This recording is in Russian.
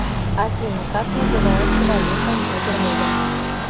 афина как называется валюта на бермудах